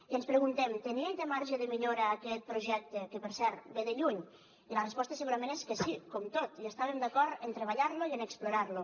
i ens preguntem tenia i té marge de millora aquest projecte que per cert ve de lluny i la resposta segurament és que sí com tot i estàvem d’acord en treballar lo i en explorar lo